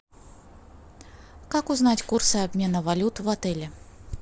как узнать курсы обмена валют в отеле